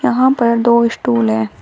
यहां पर दो स्टूल हैं।